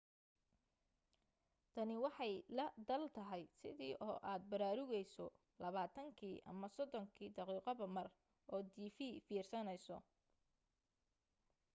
tani waxay la daal tahay sidii oo aad baraarugayso labaatankii ama soddonkii daqiiqoba mar oo tv fiirsanayso